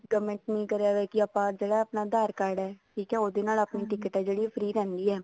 government ਨੇ ਕਰਿਆ ਹੋਇਆ ਜਿਹੜਾ ਆਪਣਾ ਆਧਾਰ card ਹੈ ਉਹਦੇ ਨਾਲ ਆਪਣੀ ticket ਆ ਜਿਹੜੀ free ਰਹਿੰਦੀ ਹੈ